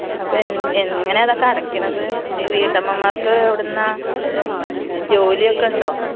അപ്പൊ എന്ന് എങ്ങനെ ഇതൊക്കെ അടക്ക്ണത് ഈ വീട്ടമ്മമാര് ക്ക് എവിടുന്ന ജൊലിയൊക്കെണ്ടോ?